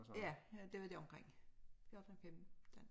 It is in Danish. Ja ja det var der omkring 14 15